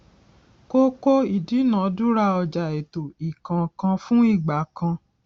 kókó ìdúnadúrà ọjà ètò ìkónǹkanfún igbà kan